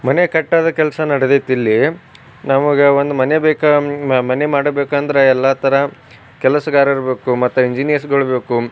ಮನೆ ಕಟ್ಟೋದು ಕೆಲಸ ನಡೆದೈತೆ ಇಲ್ಲಿ ನಮಗೆ ಒಂದು ಮನೆ ಬೇಕು ಒಂದು ಮನೆ ಮಾಡಬೇಕೆಂದರೆ ಎಲ್ಲ ತರ ಕೆಲಸಗಾರರು ಬೇಕು ಮತ್ತೆ ಎಂಜಿನೀರ್ಸ್ ಗಳು ಬೇಕು.